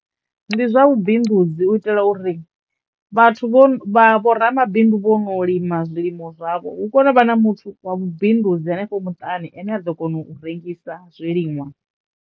Ndi zwa vhubindudzi u itela uri vhathu vho vha vho ramabindu vho no lima zwilimo zwavho hu kono u vha na muthu wa vhubindudzi henefho muṱani ane a ḓo kono u rengisa zwiliṅwa.